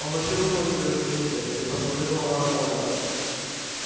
помаши рукой тебя заметили и посоветовала ольга